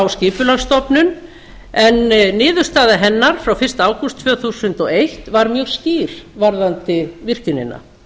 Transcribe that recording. skipulagsstofnun en niðurstaða hennar frá fyrsta ágúst tvö þúsund og eitt var mjög skýr varðandi virkjunina